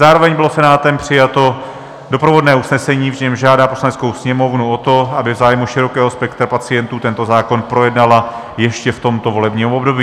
Zároveň bylo Senátem přijato doprovodné usnesení, v němž žádá Poslaneckou sněmovnu o to, aby v zájmu širokého spektra pacientů tento zákon projednala ještě v tomto volebním období.